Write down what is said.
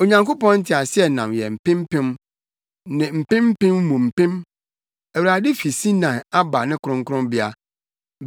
Onyankopɔn nteaseɛnam yɛ mpem mpem ne mpem mpem mu mpem; Awurade fi Sinai aba ne kronkronbea.